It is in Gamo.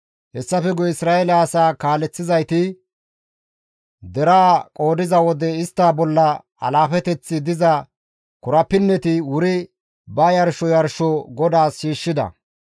Hessafe guye Isra7eele asaa kaaleththizayti, deraa qoodiza wode istta bolla alaafeteththi diza korapinneti wuri ba yarsho yarsho GODAAS shiishshida.